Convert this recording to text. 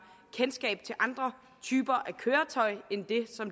kendskab til andre typer af køretøjer end det